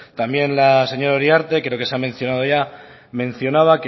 también la señora uriarte creo que se ha mencionado ya mencionaba